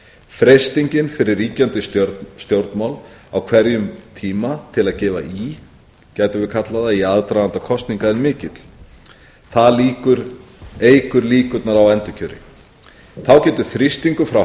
freistingin fyrir ríkjandi stjórnvöld á hverjum tíma til að gefa í gætum við kallað það í aðdraganda kosninga er mikil það eykur líkurnar á endurkjöri þá getur þrýstingur frá